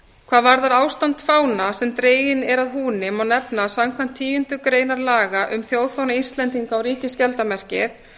hvað varðar ástand fána sem dreginn er að húni má nefna að samkvæmt tíundu grein laga um þjóðfána íslendinga og ríkisskjaldarmerkið